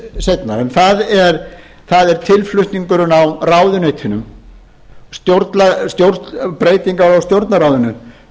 ræðu minni seinna en það er tilflutningurinn á ráðuneytunum breytingar á stjórnarráðinu